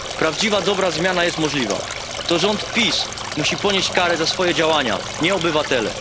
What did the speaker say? Prawdziwa dobra zmiana jest możliwa, to rząd PiS musi ponieść karę za swoje działania, nie obywatele.